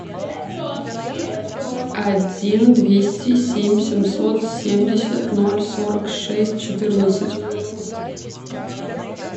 один двести семь семьсот семьдесят ноль сорок шесть четырнадцать